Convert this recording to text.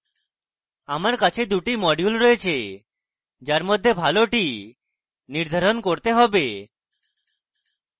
আমার কাছে 2টি modules রয়েছে যার মধ্যে ভালোটি নির্ধারণ করতে have